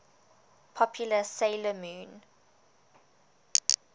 popular 'sailor moon